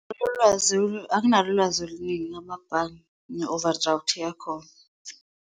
Anginalo ulwazi oluningi ngamabhange ne-overdraft yakhona.